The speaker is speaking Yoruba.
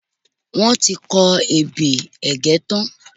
Wọ́n ti kọ ebè Ẹ̀gẹ́ tán.